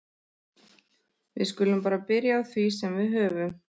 Við skulum bara byrja á því sem við höfum.